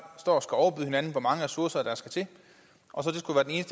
står og skal hinanden i hvor mange ressourcer der skal til og